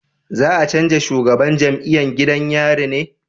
Za a canja shugaban jam'iyan gidan yari ne?